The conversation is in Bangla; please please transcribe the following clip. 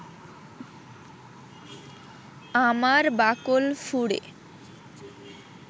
আমার বাকল ফুঁড়ে